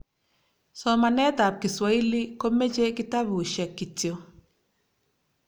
somanetab kiswahili komeche kitabushek kityo